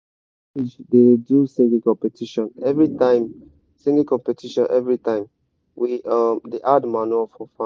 our village da do singing competition everytime singing competition everytime we um da add manure for farm